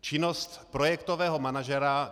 Činnost projektového manažera.